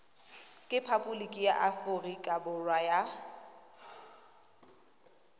repaboliki ya aforika borwa ya